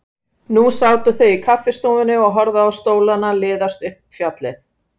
Nú sátu þau í kaffistofunni og horfðu á stólana liðast upp fjallið.